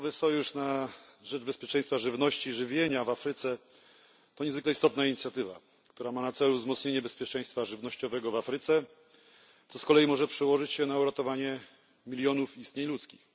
Nowy sojusz na rzecz bezpieczeństwa żywnościowego i żywienia w Afryce to niezwykle istotna inicjatywa, która ma na celu wzmocnienie bezpieczeństwa żywnościowego w Afryce, co z kolei może przełożyć się na uratowanie milionów istnień ludzkich.